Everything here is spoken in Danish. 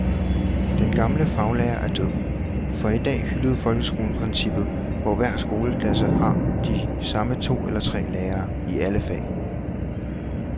Den gamle faglærer er død, for i dag hylder folkeskolen princippet, hvor hver skoleklasse har de samme to eller tre lærere i alle fag.